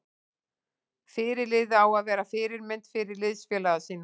Fyrirliði á að vera fyrirmynd fyrir liðsfélaga sína.